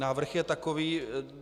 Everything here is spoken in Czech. Návrh je takový.